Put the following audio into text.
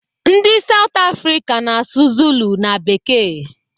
Ndị South Africa na-asụ zulu na bekee.